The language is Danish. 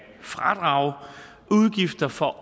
fradrage udgifter for